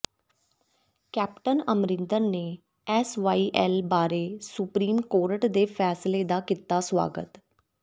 captain Amarinder ਨੇ SYL ਬਾਰੇ Supreme Court ਦੇ ਫੈਸਲੇ ਦਾ ਕੀਤਾ ਸਵਾਗਤ